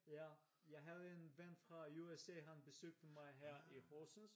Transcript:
Ja jeg havde en fra USA han besøgte mig her i Horsens